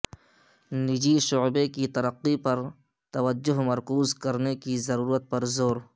نجی شعبے کی ترقی پر توجہ مرکوز کرنے کی ضرورت پر زور